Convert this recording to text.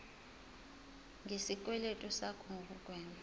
ngesikweletu sakho nokugwema